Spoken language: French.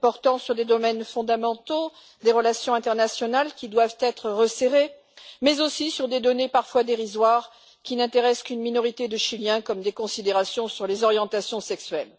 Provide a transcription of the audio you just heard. portant certes sur des domaines fondamentaux, des relations internationales qui doivent être resserrées, mais aussi sur des données parfois dérisoires qui n'intéressent qu'une minorité de Chiliens, comme des considérations sur les orientations sexuelles.